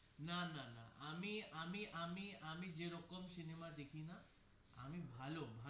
না না না আমি আমি আমি আমি যে রকম সিনেমা দেখি না আমি ভালো.